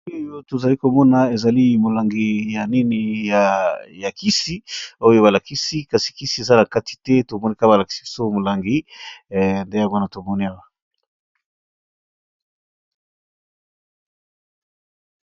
oyo tozali komona ezali molangi ya nini ya ya kisi oyo balakisi kasi kisi eza na kati te! tomoneka balakisi so molangi nde nde wana tomona awa.